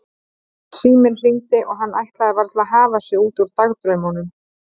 Síminn hringdi og hann ætlaði varla að hafa sig út úr dagdraumunum.